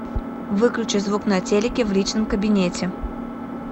выключи звук на телике в личном кабинете